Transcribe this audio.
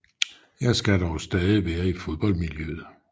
Jeg skal dog stadig være i fodboldmiljøet